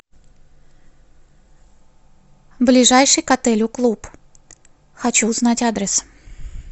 ближайший к отелю клуб хочу узнать адрес